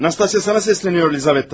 Nastasya sənə səslənir Lizaveta.